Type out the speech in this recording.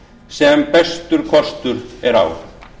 sem bestur kostur er á